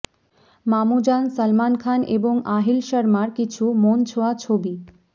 মামুজান সলমন খান এবং আহিল শর্মার কিছু মন ছোঁয়া ছবি